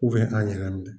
an ɲagamin